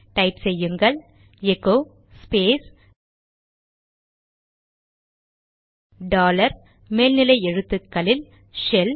type செய்யுங்கள் echo space dollar மேல்நிலை எழுத்துக்களில் ஷெல்